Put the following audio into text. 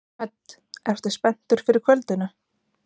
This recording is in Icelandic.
Hödd: Ertu spenntur fyrir kvöldinu?